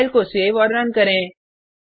file को save और run करें